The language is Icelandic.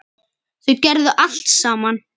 Þau gerðu allt saman.